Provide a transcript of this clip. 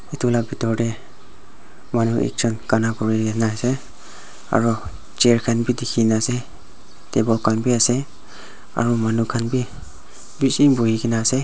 etu la pitor te manu ekjon gana kuri kene ase aru chair khan bi dikhi ne ase table khan bi ase aru manu khan bi bishi buhi kene ase.